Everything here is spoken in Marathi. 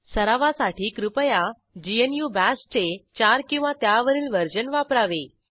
सरावासाठी कृपया ग्नू बाश चे4किंवा त्यावरील वर्जन वापरावे